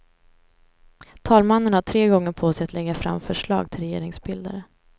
Talmannen har tre gånger på sig att lägga fram förslag till regeringsbildare.